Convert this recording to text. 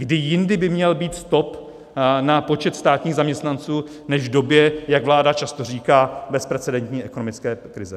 Kdy jindy by měl být stop na počet státních zaměstnanců než v době, jak vláda často říká, bezprecedentní ekonomické krize?